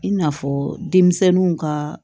I n'a fɔ denmisɛnninw ka